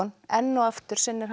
enn og aftur sinnir hann